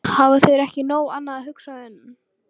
Hafa þeir ekki um nóg annað að hugsa en.